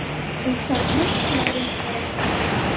Og það truflar ykkur ekkert?